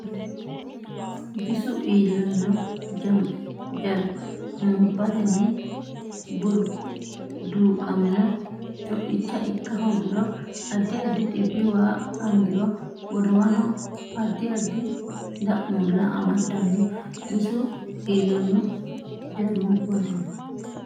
Bisu iillanno Jarmubbatenni burquuqamino co icha ikka hoogiro addi addi dhibbi waa angiro godowaho addi addi da muulla amadanno Bisu iillanno Jarmubbatenni.